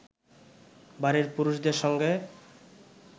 বাড়ির পুরুষদের সঙ্গে